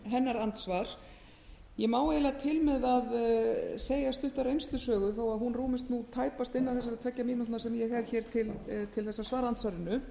hennar andsvar ég má eiginlega til með að segja stutta reynslusögu þó að hún rúmist tæpast innan þessara tveggja mínútna sem ég hef hér til þess að svara andsvarinu